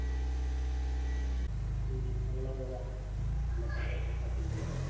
உம் அதுல வரும் இந்த பாட்டுல பாத்திங்கனா